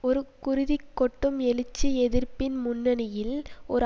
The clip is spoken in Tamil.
ஒரு குருதி கொட்டும் எழுச்சி எதிர்ப்பின் முன்னணியில் ஒரு